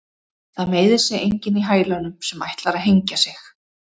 Það meiðir sig enginn í hælunum sem ætlar að hengja sig.